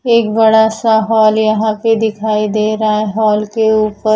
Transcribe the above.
एक बड़ा सा हॉल यहां पे दिखाई दे रहा हॉल के ऊपर--